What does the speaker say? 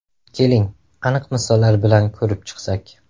Keling, aniq misollar bilan ko‘rib chiqsak.